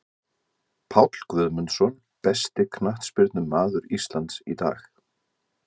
Páll Guðmundsson Besti knattspyrnumaður Íslands í dag?